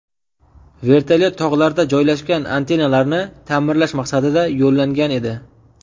Vertolyot tog‘larda joylashgan antennalarni ta’mirlash maqsadida yo‘llangan edi.